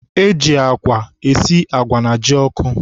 E ji agwa esi agwa na jioko.